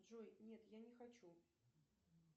джой нет я не хочу